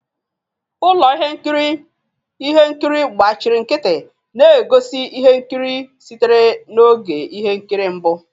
Ụlọ ihe nkiri ihe nkiri gbachiri nkịtị na-egosi ihe nkiri sitere na oge ihe nkiri mbụ.